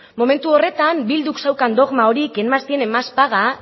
momentu horretan bilduk zeukan dogma hori quien más tiene más paga